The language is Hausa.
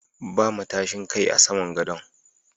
Ba matashin Kai a saman gadon.